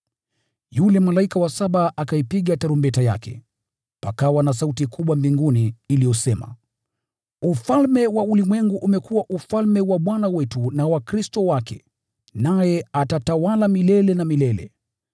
Yule malaika wa saba akaipiga tarumbeta yake, pakawa na sauti kubwa mbinguni iliyosema: “Ufalme wa ulimwengu umekuwa ufalme wa Bwana wetu na wa Kristo wake, naye atatawala milele na milele.”